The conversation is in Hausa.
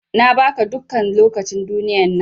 Na ba ka dukkan lokacin duniyar nan.